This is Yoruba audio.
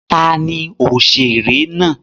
Ta ni òṣèré náà?